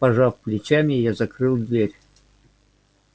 пожав плечами я закрыл дверь